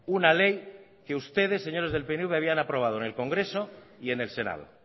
una ley que ustedes señores del pnv habían aprobado en el congreso y en el senado